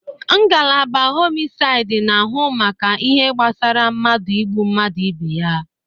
Ngalaba homisaid n'ahụ maka ihe gbasara mmadụ ịgbu mmadụ ebe ya